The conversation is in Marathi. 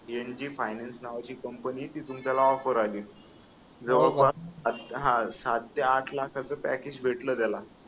NG फायनान्स नावाची कंपनी आहे तिथून त्याला ऑफर आली हा सात ते आठ लाखांच पॅकेज भेटल त्याला